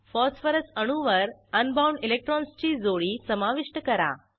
phosphorus अणूवर un bound इलेक्ट्रॉन्सची जोडी समाविष्ट करा